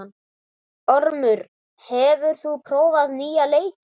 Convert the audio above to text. Ormur, hefur þú prófað nýja leikinn?